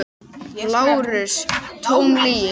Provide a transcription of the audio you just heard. LÁRUS: Tóm lygi!